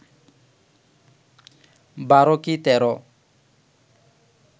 বারো কি তেরো